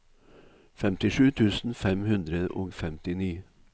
femtisju tusen fem hundre og femtini